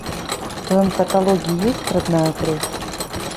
в твоем каталоге есть родная кровь